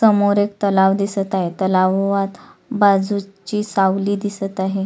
समोर एक तलाव दिसत आहे तलावात बाजूची सावली दिसत आहे.